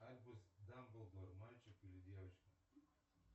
альбус дамблдор мальчик или девочка